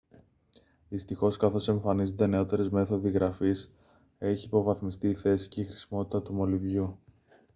δυστυχώς καθώς εμφανίζονται νεώτερες μέθοδοι γραφής έχει υποβαθμιστεί η θέση και η χρησιμότητα του μολυβιού